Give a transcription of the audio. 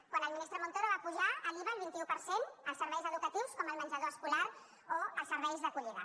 quan el ministre montoro va apujar l’iva al vint un per cent als serveis educatius com el menjador escolar o als serveis d’acollida